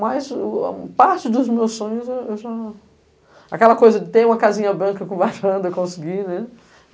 Mas o a parte dos meus sonhos eu já... Aquela coisa de ter uma casinha branca com varanda, eu consegui, né.